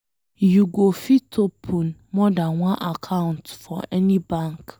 You go fit open more dan one account for any bank.